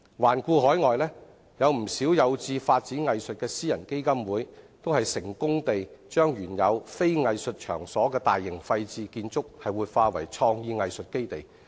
環顧海外，不少有志發展藝術的私人基金會，均成功地把原非藝術場所的大型廢置建築活化為創意藝術基地。